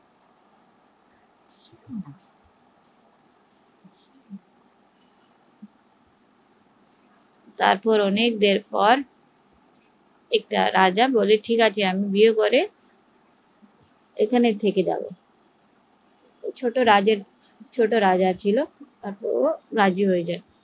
তারপর অনেক দেড় পর একটা রাজা বলে আচ্ছা ঠিক আছে আমি বিয়ের পর এখানে থেকে যাবো ছোট রাজা ছিল ও রাজি হয়ে যায়